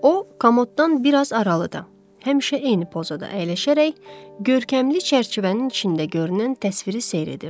O komoddan bir az aralıda, həmişə eyni pozada əyləşərək görkəmli çərçivənin içində görünən təsviri seyr edirdi.